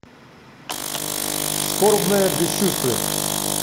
скорбное бесчувствие